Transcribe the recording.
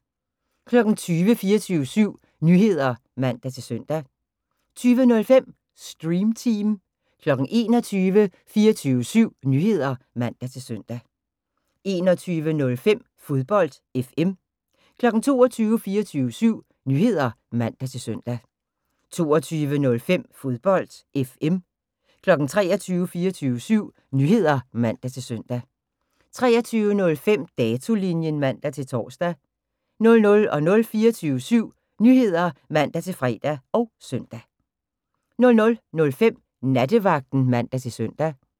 20:00: 24syv Nyheder (man-søn) 20:05: Stream Team 21:00: 24syv Nyheder (man-søn) 21:05: Fodbold FM 22:00: 24syv Nyheder (man-søn) 22:05: Fodbold FM 23:00: 24syv Nyheder (man-søn) 23:05: Datolinjen (man-tor) 00:00: 24syv Nyheder (man-fre og søn) 00:05: Nattevagten (man-søn)